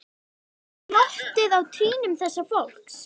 Sjá glottið á trýnum þessa fólks.